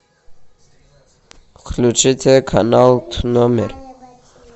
включите канал номер